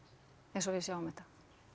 eins og við sjáum þetta